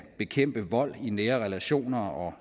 bekæmpe vold i nære relationer og